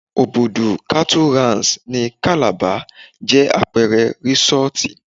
Òbùdù kátú Ranṣ ní Kàlàba jẹ́ àpẹẹrẹ rísọ́tì